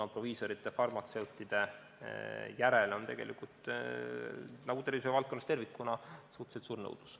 Proviisorite, farmatseutide järele on tegelikult – nagu tervishoiuvaldkonnas tervikuna – suhteliselt suur nõudlus.